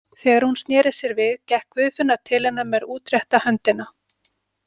Þegar hún sneri sér við gekk Guðfinna til hennar með útrétta höndina.